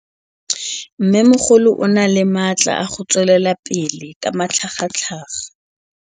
Mmêmogolo o na le matla a go tswelela pele ka matlhagatlhaga.